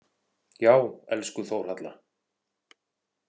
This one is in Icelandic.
Já, elsku Þórhalla.